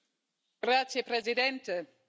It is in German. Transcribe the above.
Herr Präsident, meine Damen und Herren!